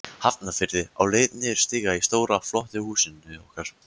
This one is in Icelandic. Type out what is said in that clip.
Hafnarfirði, á leið niður stiga í stóra, flotta húsinu okkar.